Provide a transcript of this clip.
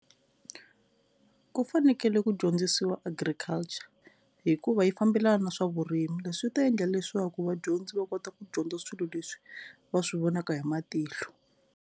Ku fanekele ku dyondzisiwa Agriculture hikuva yi fambelana na swa vurimi leswi swi ta endla leswaku vadyondzi va kota ku dyondza swilo leswi va swi vonaka hi matihlo.